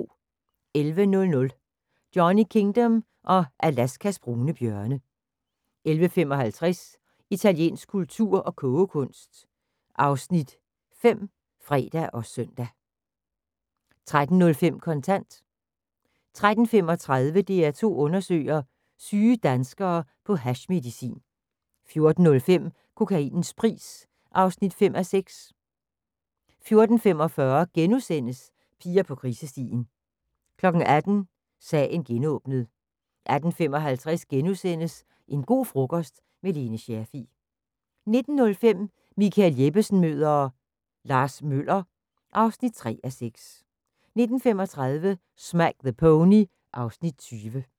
11:00: Johnny Kingdom og Alaskas brune bjørne 11:55: Italiensk kultur og kogekunst (Afs. 5)(fre og søn) 13:05: Kontant 13:35: DR2 undersøger: Syge danskere på hashmedicin 14:05: Kokainens pris (5:6) 14:45: Piger på krisestien (5:6)* 18:00: Sagen genåbnet 18:55: En go' frokost– med Lone Scherfig * 19:05: Michael Jeppesen møder ... Lars Møller (3:6) 19:35: Smack the Pony (Afs. 20)